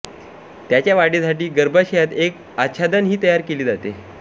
त्याच्या वाढीसाठी गर्भाशयात एक आच्छादन ही तयार केले जाते